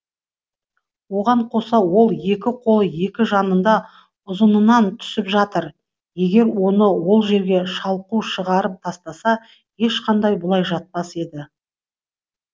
оған қоса ол екі қолы екі жанында ұзынынан түсіп жатыр егер оны ол жерге шалқу шығарып тастаса ешқандай бұлай жатпас еді